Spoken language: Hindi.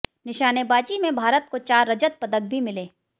निशानेबाजी में भारत को चार रजत पदक भी मिले